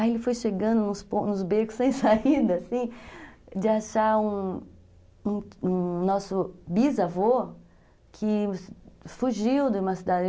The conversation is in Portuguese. Aí ele foi chegando nos becos sem saída, assim, de achar um nosso bisavô que fugiu de uma cidade.